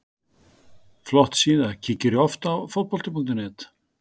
Flott síða Kíkir þú oft á Fótbolti.net?